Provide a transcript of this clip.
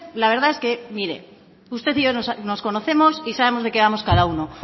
la verdad es que mire usted y yo nos conocemos y sabemos de qué vamos cada uno